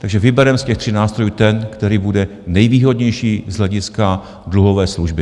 Takže vybereme z těch tři nástrojů ten, který bude nejvýhodnější z hlediska dluhové služby.